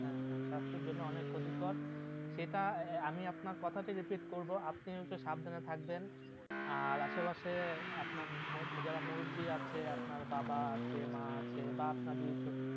হ্যাঁ হ্যাঁ সাস্থের জন্য অনেক ক্ষতিকর, সেটা আমি আপনার কথাতে repeat করবো আপনি একটু সাবধানে থাকবেন আর আসে পাশে আপনার যারা মুরব্বি আছে আপনার বাবা আছে মা আছে বা আপনার যদি